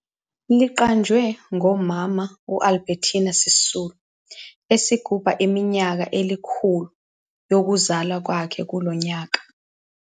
Liqanjwe ngoMama Albertina Sisulu esigubha iminyaka elikhulu yokuzalwa kwakhe kulo nyaka.